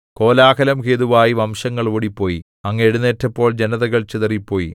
കോലാഹലം ഹേതുവായി വംശങ്ങൾ ഓടിപ്പോയി അങ്ങ് എഴുന്നേറ്റപ്പോൾ ജനതകൾ ചിതറിപ്പോയി